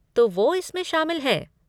तो वो इसमें शामिल है।